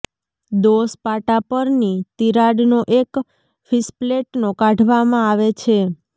દોષ પાટા પરની તિરાડનો કે ફિશપ્લેટનો કાઢવામાં આવે છે